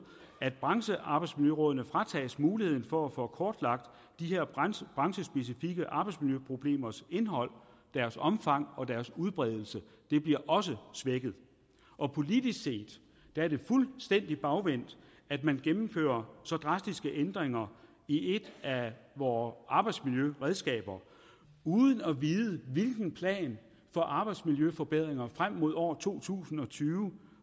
at branchearbejdsmiljørådene fratages muligheden for at få kortlagt de her branchespecifikke arbejdsmiljøproblemers indhold deres omfang og deres udbredelse det bliver også svækket politisk set er det fuldstændig bagvendt at man gennemfører så drastiske ændringer i et af vore arbejdsmiljøredskaber uden at vide hvilken plan for arbejdsmiljøforbedringer frem mod år to tusind og tyve